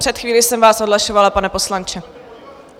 Před chvílí jsem vás odhlašovala, pane poslanče.